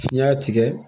N y'a tigɛ